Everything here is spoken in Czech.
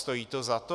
Stojí to za to?